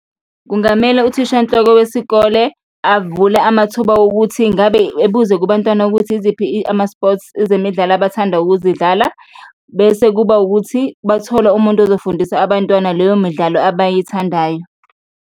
Kungamele uThishanhloko wesikole avule amathuba wokuthi ingabe ebuze kubantwana ukuthi iziphi ama-sports, ezemidlalo abathanda ukuzidlala bese kuba wukuthi bathola umuntu azofundisa abantwana leyo midlalo abayithandayo.